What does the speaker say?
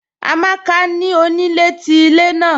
Amàkà ni onílẹ̀ tí ilẹ̀ naà